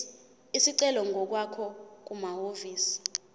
isicelo ngokwakho kumahhovisi